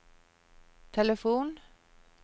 telefon